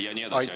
Ja nii edasi.